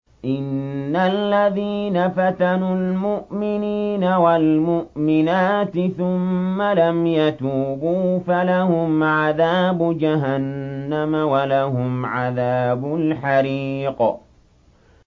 إِنَّ الَّذِينَ فَتَنُوا الْمُؤْمِنِينَ وَالْمُؤْمِنَاتِ ثُمَّ لَمْ يَتُوبُوا فَلَهُمْ عَذَابُ جَهَنَّمَ وَلَهُمْ عَذَابُ الْحَرِيقِ